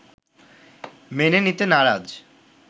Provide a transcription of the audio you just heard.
মেনে নিতে নারাজ